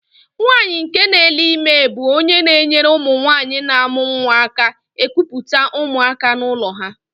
Nwaanyị nke nele ime bú ónyé na-enyere ụmụnwanyị n'amu nwa aka ekupute ụmụaka n'ụlọ ha.